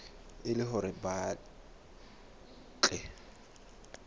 e le hore ba tle